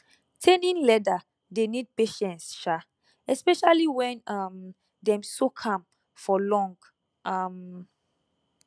tanning leather dey need patience [sha] especially when um dem soak am for long um